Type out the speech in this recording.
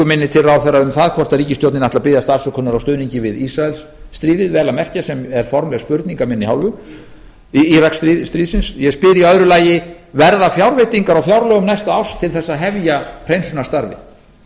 minni til ráðherra um það hvorki ríkisstjórnin ætli að biðjast afsökunar á stuðningi við íraksstríðið vel að merkja sem er formleg spurning af minni hálfu ég spyr í öðru alls verða fjárveitingar á fjárlögum næsta árs til þess að hefja hreinsunarstarfið